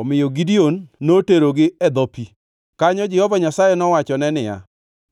Omiyo Gideon noterogi e dho pi. Kanyo Jehova Nyasaye nowachone niya,